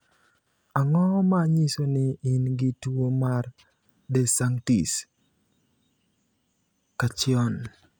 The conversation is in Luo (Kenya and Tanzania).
Ang'o ma nyiso ni in gi tuwo mar De Sanctis Cacchione?